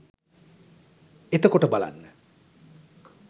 එතකොට බලන්න